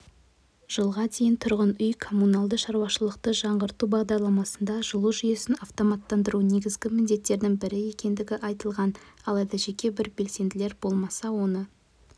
жылға дейін тұрғын үй-коммуналды шаруашылықты жаңғырту бағдарламасында жылу жүйесін автоматтандыру негізгі міндеттердің бірі екендігі айтылған алайда жеке бір белсенділер болмаса оны